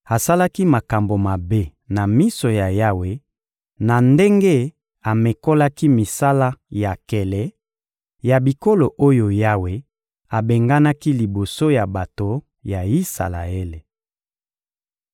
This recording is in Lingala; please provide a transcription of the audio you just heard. Asalaki makambo mabe na miso ya Yawe na ndenge amekolaki misala ya nkele ya bikolo oyo Yawe abenganaki liboso ya bato ya Isalaele.